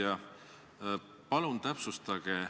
Hea ettekandja!